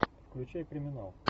включай криминал